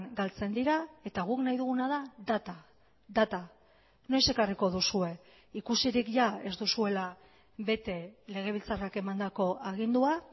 galtzen dira eta guk nahi duguna da data data noiz ekarriko duzue ikusirik jada ez duzuela bete legebiltzarrak emandako agindua